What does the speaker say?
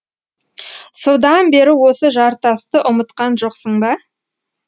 содан бері осы жартасты ұмытқан жоқсың ба